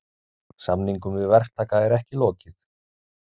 Samningum við verktaka er ekki lokið